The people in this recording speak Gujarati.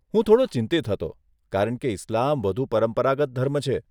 હું થોડો ચિંતિત હતો, કારણ કે ઇસ્લામ વધુ પરંપરાગત ધર્મ છે.